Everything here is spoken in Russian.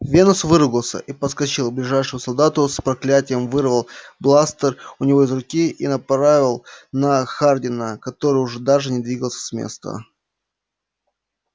венус выругался и подскочил к ближайшему солдату с проклятием вырвал бластер у него из руки и направил на хардина который уже даже не двигался с места